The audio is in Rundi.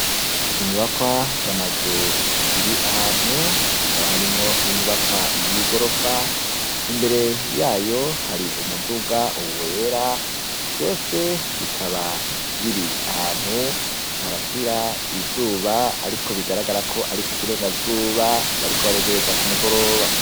Inyubakwa z'amanzu ziri ahantu hakaba harimwo n'inyubakwa y'ingorofa, imbere yayo hari umuduga wera vyose bikaba biri ahantu harasira izuba ariko bigaragara ari kukirega zuba bariko baregereza k'umugoroba.